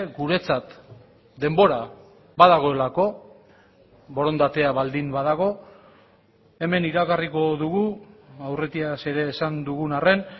guretzat denbora badagoelako borondatea baldin badago hemen iragarriko dugu aurretiaz ere esan dugun arren